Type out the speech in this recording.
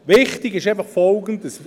Wichtig ist Folgendes: